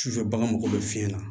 Sufɛ bagan mago bɛ fiɲɛ na